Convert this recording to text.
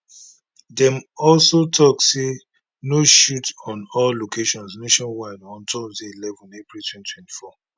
dem also tok say no shoot on all locations nationwide on thursday eleven april 2024